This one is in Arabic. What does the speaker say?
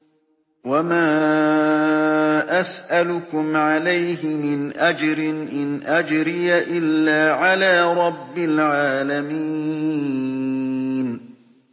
وَمَا أَسْأَلُكُمْ عَلَيْهِ مِنْ أَجْرٍ ۖ إِنْ أَجْرِيَ إِلَّا عَلَىٰ رَبِّ الْعَالَمِينَ